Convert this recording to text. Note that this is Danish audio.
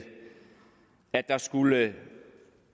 at der skulle